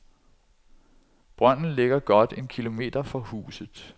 Brønden ligger godt en kilometer fra huset.